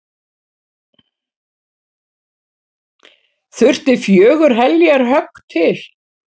Þurfti fjögur heljarhögg til.